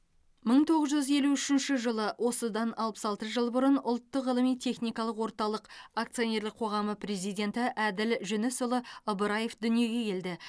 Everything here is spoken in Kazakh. мың тоғыз жүз елу үшінші жылы осыдан алпыс алты жыл бұрын ұлттық ғылыми техникалық орталық акционерлік қоғамы президенті әділ жүнісұлы ыбыраев дүниеге келді